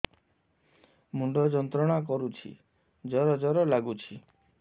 ମୁଣ୍ଡ ଯନ୍ତ୍ରଣା କରୁଛି ଜର ଜର ଲାଗୁଛି